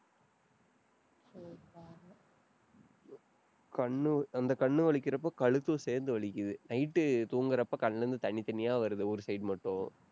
கண்ணு, அந்த கண்ணு வலிக்கிறப்ப கழுத்தும் சேர்ந்து வலிக்குது night உ தூங்குறப்போ கண்ணுல இருந்து தண்ணி, தண்ணியா வருது ஒரு side மட்டும்.